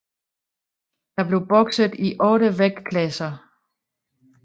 Der blev bokset i 8 vægtklasser